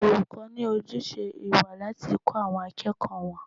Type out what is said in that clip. Olùkọ́ ní ojúṣe ìwà láti kọ́ àwọn akẹ́kọ̀ọ́ wọn.